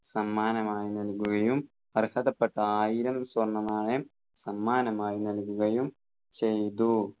സമ്മാനമായി നൽകുകയും അർഹതപ്പെട്ട ആയിരം സ്വർണ്ണനാണയം സമ്മാനമായി നൽകുകയും ചെയ്തു